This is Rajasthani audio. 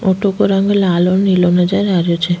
ऑटो को रंग लाल और नीलो नजर आ रेहो छे।